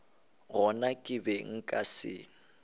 gona ke be nka se